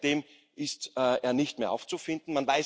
Seitdem ist er nicht mehr aufzufinden.